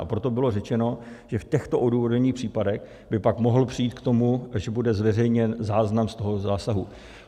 A proto bylo řečeno, že v těchto odůvodněných případech by pak mohlo přijít k tomu, že bude zveřejněn záznam z toho zásahu.